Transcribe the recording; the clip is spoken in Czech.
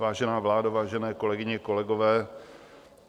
Vážená vládo, vážené kolegyně, kolegové.